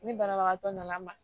Ni banabagatɔ nana n ma